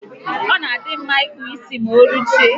Ọ na adị mma ịkpụ isi ma oruchie